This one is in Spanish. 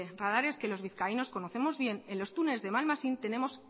radares que los vizcaínos conocemos bien en los túneles de malmasín tenemos